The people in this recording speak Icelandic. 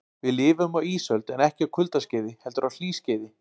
Við lifum á ísöld en ekki á kuldaskeiði heldur á hlýskeiði.